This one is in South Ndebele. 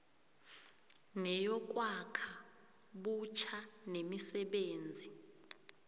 neyokwakha butjha nemisebenzi